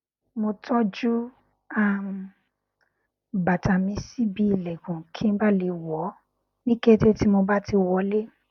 mo tọjú um bàtà mi sí ibi ìlẹkùn kí n bà le le wọ ọ ní kété tí mo bá ti wọlé